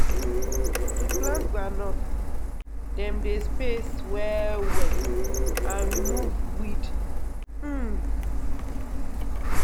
to plant groundnut dem dey space well well and remove weed. um